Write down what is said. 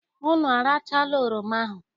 Unu arachala oroma ahụ?